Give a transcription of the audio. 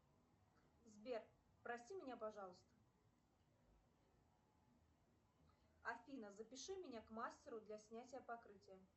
сбер прости меня пожалуйста афина запиши меня к мастеру для снятия покрытия